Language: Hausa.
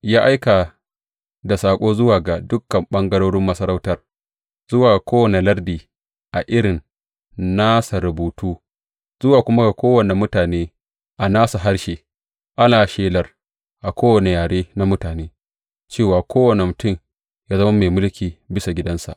Ya aika da saƙo zuwa ga dukan ɓangarorin masarautar, zuwa ga kowane lardi a irin nasa rubutu, zuwa kuma ga kowane mutane a nasu harshe, ana shelar a kowane yare na mutane, cewa kowane mutum yă zama mai mulki bisa gidansa.